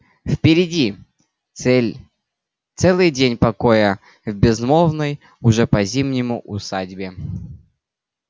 впереди цель целый день покоя в безмолвной уже по-зимнему усадьбе